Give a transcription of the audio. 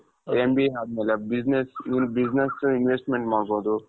MBA ಅದ್ಮೇಲೆ business ಇದು business investment ಮಾಡ್ಬಹುದು.